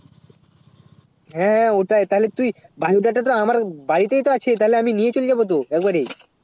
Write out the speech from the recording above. হেঁ ওটাই তালে তুই bio data টা তে আমার বাড়ি তে তো আছে তালে আমি নিয়ে চলে যাবো তো এক বারী